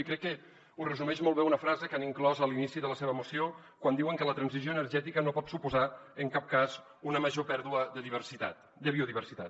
i crec que ho resumeix molt bé una frase que han inclòs a l’inici de la seva moció quan diuen que la transició energètica no pot suposar en cap cas una major pèrdua de biodiversitat